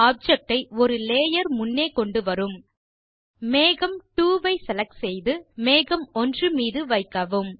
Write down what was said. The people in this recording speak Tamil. ஆப்ஜெக்ட் ஐ ஒரு லேயர் முன்னே கொண்டுவரும் மேகம் 2 ஐசெலக்ட் செய்து மற்றும் மேகம் 1 மீது வைக்கவும்